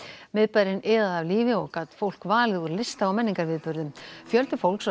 miðbærinn iðaði af lífi og gat fólk valið úr lista og menningarviðburðum fjöldi fólks var